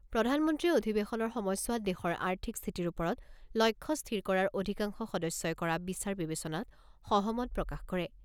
প্ৰধানমন্ত্ৰীয়ে অধিৱেশনৰ সময়ছোৱাত দেশৰ আৰ্থিক স্থিতিৰ ওপৰত লক্ষ্য স্থিৰ কৰাৰ অধিকাংশ সদস্যই কৰা বিচাৰ বিবেচনাত সহমত প্ৰকাশ কৰে।